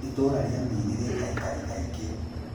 Itũũra rĩa Miiri rĩ aikari aingĩ.